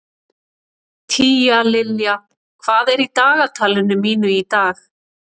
Tíalilja, hvað er í dagatalinu mínu í dag?